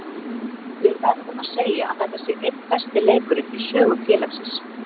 Við verðum að segja að þetta sé einn besti leikurinn í sögu félagsins.